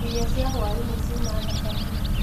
Irio cia hwainĩ ciuma thaka mũno.